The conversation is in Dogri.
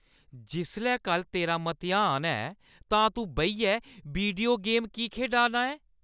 जिसलै कल्ल तेरा मतेहान ऐ, तां तूं बेहियै वीडियो गेम की खेढा ना ऐं?